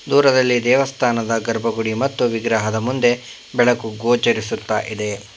ದೂರದಲ್ಲಿ ದೇವಸ್ಥಾನದ ಗರ್ಭಗುಡಿ ಮತ್ತು ವಿಗ್ರಹದ ಮುಂದೆ ಬೆಳಕು ಗೋಚರಿಸುತ್ತಾ ಇದೆ.